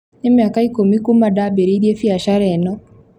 Nĩ mĩaka ikũmi kuuma ndabĩrĩirie biacara ĩno